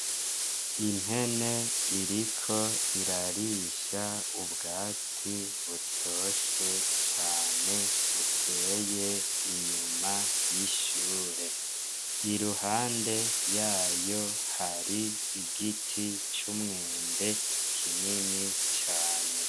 Impene iriko irarisha ubwatsi butoshe cane, buteye inyuma y'ishure. Iruhande yayo har'igiti c'umwembe kinini cane.